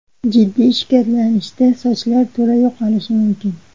Jiddiy shikastlanishda sochlar to‘la yo‘qolishi mumkin.